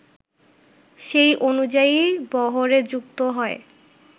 সেই অনুযায়ী বহরে যুক্ত হয়